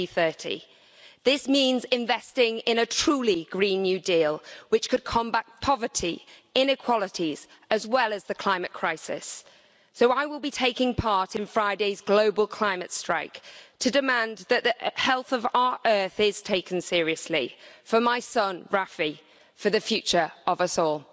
2030. This means investing in a truly green new deal, which could combat poverty, inequalities and the climate crisis, so I will be taking part in Friday's global climate strike to demand that the health of our earth is taken seriously for my son Rafi, for the future of us all.